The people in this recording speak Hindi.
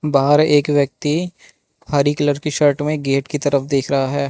बाहर एक व्यक्ति हरी कलर की शर्ट में गेट की तरफ देख रहा है।